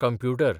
computer